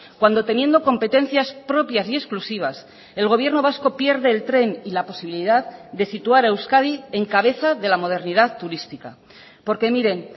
cuando teniendo competencias propias y exclusivas el gobierno vasco pierde el tren y la posibilidad de situar a euskadi en cabeza de la modernidad turística porque miren